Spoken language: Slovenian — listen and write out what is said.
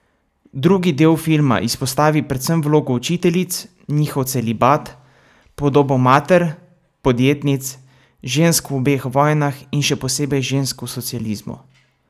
Drugi del filma izpostavi predvsem vlogo učiteljic, njihov celibat, podobo mater, podjetnic, žensk v obeh vojnah in še posebej žensk v socializmu.